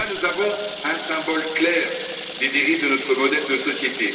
Nous avons là un symbole clair des dérives de notre modèle de société.